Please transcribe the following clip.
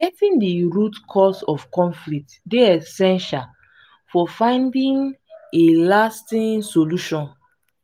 getting di root cause of conflict dey essential for finding a lasting solution.